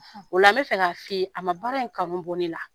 O la n bɛ fɛ ka f'i ye a ma baara in kanu bɔ ne la.